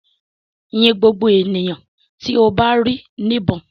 Yin ngbogbo eniyan ti o ba ri nibon!